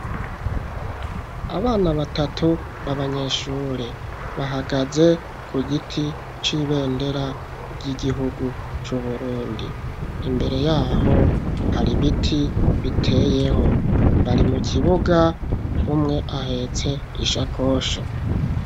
Abana batatu b'abanyeshure bahagaze ku giti c'ibendera ry'igihugu c'Uburundi. Imbere yaho hari ibiti biteyeho. Bari mu kibuga umwe ahetse ishakoshi.